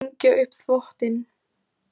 Hengja upp þvottinn.